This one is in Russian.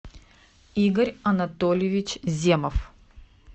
игорь анатольевич земов